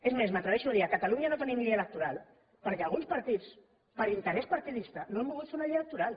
és més m’atreveixo a dir a catalunya no tenim llei electoral perquè alguns partits per interès partidista no han volgut fer una llei electoral